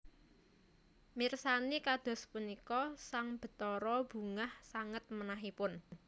Mirsani kados punika sang Bathara bungah sanget manahipun